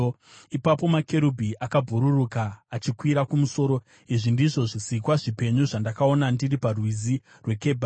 Ipapo makerubhi akabhururuka achikwira kumusoro. Izvi ndizvo zvisikwa zvipenyu zvandakaona ndiri paRwizi rweKebhari.